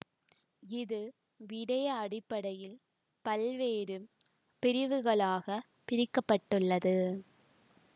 இது விடய அடிப்படையில் பல்வேறு பிரிவுகளாக பிரிக்க பட்டுள்ளது